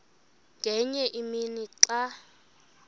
ngenye imini xa